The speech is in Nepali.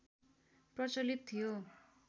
प्रचलित थियो